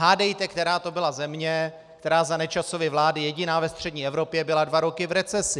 Hádejte, která to byla země, která za Nečasovy vlády jediná ve střední Evropě byla dva roky v recesi?